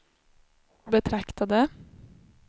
betraktade